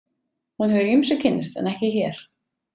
Hún hefur ýmsu kynnst en ekki hér.